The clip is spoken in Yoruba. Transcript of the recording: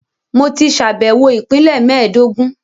Mo ti ṣàbẹ̀wọ̀ Ìpínlẹ̀ mẹ́ẹ̀dógún